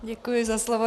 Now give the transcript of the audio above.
Děkuji za slovo.